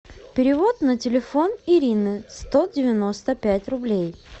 перевод на телефон ирины сто девяносто пять рублей